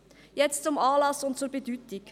Jetzt zum Anlass und zur Bedeutung: